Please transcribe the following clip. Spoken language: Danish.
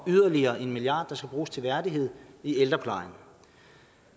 yderligere en milliard kr der skal bruges til værdighed i ældreplejen